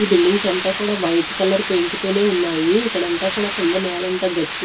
ఈ బిల్డింగ్స్ అంతా కూడా వైట్ కలర్ పెయింట్ తోనే ఉన్నాయి ఇక్కడంతా కూడా కింద నేలంతా గచ్చు--